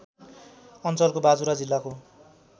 अञ्चलको बाजुरा जिल्लाको